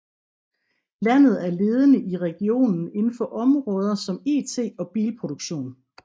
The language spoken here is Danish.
Landet er ledende i regionen inden for områder som IT og bilproduktion